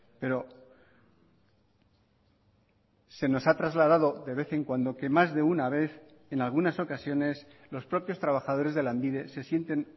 pero se nos ha trasladado de vez en cuando que más de una vez en algunas ocasiones los propios trabajadores de lanbide se sienten